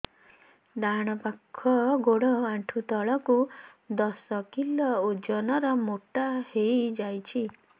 ଡାହାଣ ପାଖ ଗୋଡ଼ ଆଣ୍ଠୁ ତଳକୁ ଦଶ କିଲ ଓଜନ ର ମୋଟା ହେଇଯାଇଛି